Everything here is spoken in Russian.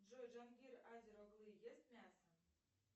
джой джангир азер оглы ест мясо